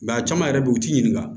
a caman yɛrɛ be yen u t'i ɲininka